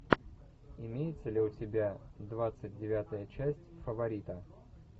имеется ли у тебя двадцать девятая часть фаворита